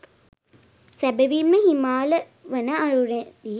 සැබැවින්ම හිමාල වන අරණේදී